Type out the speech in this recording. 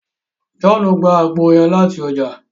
Johnu gbà àgbo yẹn lati ọja